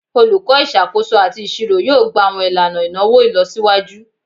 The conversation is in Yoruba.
Olukọ Isakoso ati Iṣiro yoo gba awọn ilana inawo ilọsiwaju